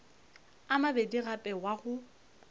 a mabedi gape wa go